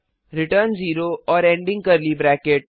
return 0 और ending curly bracket